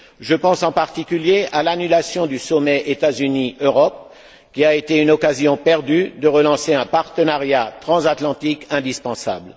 Je pense en particulier à l'annulation du sommet entre les États Unis et l'Europe, qui a été une occasion perdue de relancer un partenariat transatlantique indispensable.